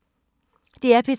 DR P3